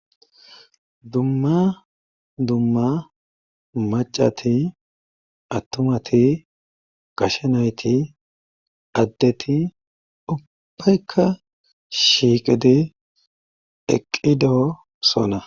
dumma dumma macati attumati gashenayti addeti ubbaykka shiiqidi eqqidoosona.